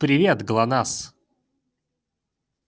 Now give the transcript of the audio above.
привет глонассс